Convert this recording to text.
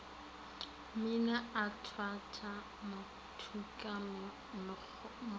mmina a thwantšha mmotuka mokgwana